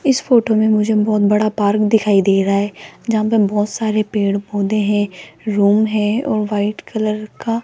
इस फोटो में मुझे बहोत बड़ा पार्क दिखाई दे रहा है जहां पे बहोत सारे पेड़ पौधे हैं रूम है और वाइट कलर का--